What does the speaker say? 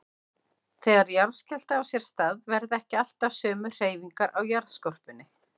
Þegar jarðskjálfti á sér stað verða ekki alltaf sömu hreyfingar á jarðskorpunni.